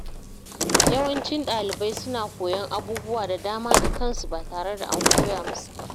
Yawancin ɗalibai suna koyan abubuwa da dama da kansu ba tare da an koya musu ba.